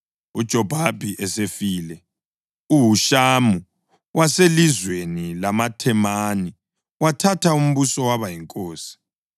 UJobhabhi esefile, uHushamu waselizweni lamaThemani wathatha umbuso waba yinkosi.